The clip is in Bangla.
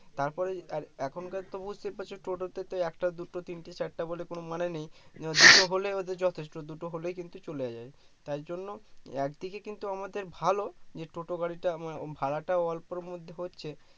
তারপরে আর এখনকার তো বুঝতেই পারছো টোটো তে তো একটা দুটো তিনটে চারটে বলে কোনো মানে নেই দুটো হলে ওদের যথেষ্ট দুটো হলেই কিন্তু চলে যায় তার জন্য একদিকে কিন্তু আমাদের ভালো যে টোটো গাড়িটা আমায় ভাড়াটাও অল্পের মধ্যে হচ্ছে